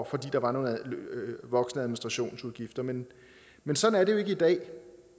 fordi der var voksende administrationsudgifter men men sådan er det jo ikke i dag